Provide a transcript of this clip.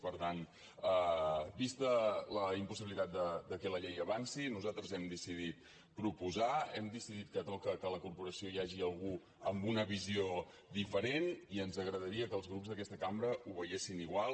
per tant vista la impossibilitat que la llei avanci nosaltres hem decidit proposar hem decidit que toca que a la corporació hi hagi algú amb una visió diferent i ens agradaria que els grups d’aquesta cambra ho veiessin igual